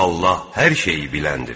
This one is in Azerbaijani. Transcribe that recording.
Allah hər şeyi biləndir.